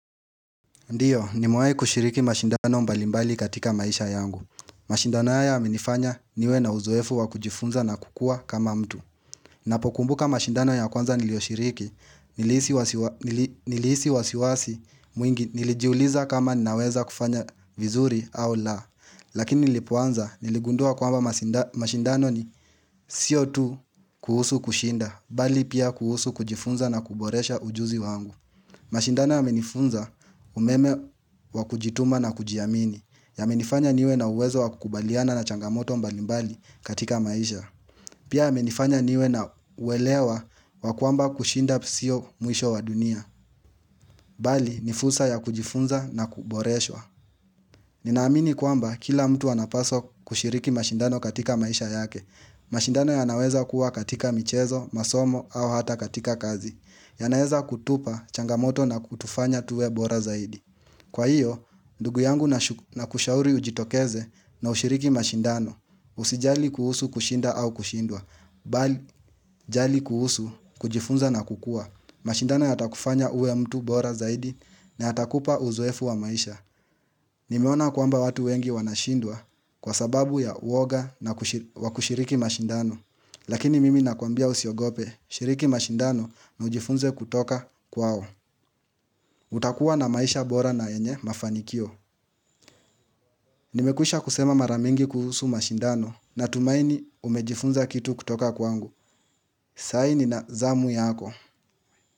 Ndiyo, ni mewai kushiriki mashindano mbalimbali katika maisha yangu. Mashindano haya ya menifanya niwe na uzoefu wa kujifunza na kukua kama mtu. Napokumbuka mashindano ya kwanza niliyoshiriki, nilihisi wasiwasi mwingi nilijiuliza kama naweza kufanya vizuri au la. Lakini nilipuanza, niligundua kwamba mashindano ni sio tu kuhusu kushinda, bali pia kuhusu kujifunza na kuboresha ujuzi wangu. Mashindano ya menifunza umeme wa kujituma na kujiamini, ya menifanya niwe na uwezo wa kukubaliana na changamoto mbalimbali katika maisha. Pia ya menifanya niwe na uwelewa wa kwamba kushinda sio mwisho wa dunia, bali nifursa ya kujifunza na kuboreswa. Ninaamini kwamba kila mtu anapaswa kushiriki mashindano katika maisha yake. Mashindano ya naweza kuwa katika michezo, masomo au hata katika kazi. Ya naeza kutupa changamoto na kutufanya tuwe bora zaidi. Kwa hiyo, ndugu yangu na kushauri ujitokeze na ushiriki mashindano. Usijali kuhusu kushinda au kushindwa, bali jali kuhusu kujifunza na kukua. Mashindano ya takufanya uwe mtu bora zaidi na ya takupa uzoefu wa maisha. Nimeona kwamba watu wengi wanashindwa kwa sababu ya uoga na wakushiriki mashindano. Lakini mimi nakuambia usiogope, shiriki mashindano na ujifunze kutoka kwao. Utakuwa na maisha bora na yenye mafanikio. Nimekwisha kusema maramingi kuhusu mashindano na tumaini umejifunza kitu kutoka kwangu. Saini na zamu yako.